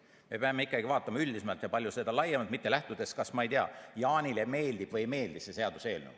Me peame ikkagi vaatama üldisemalt ja palju laiemalt, mitte lähtudes sellest, ma ei tea, kas Jaanile meeldib või ei meeldi see seaduseelnõu.